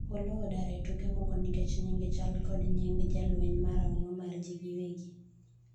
Oloo odar e tuke moko nikech nyinge chal kod nying jalweny marahuma mar jii gi wegi